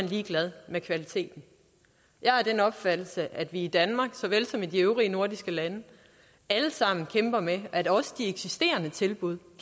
ligeglade med kvaliteten jeg er af den opfattelse at vi i danmark såvel som i de øvrige nordiske lande alle sammen kæmper med at også de eksisterende tilbud